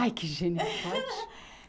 Ai, que gênio forte!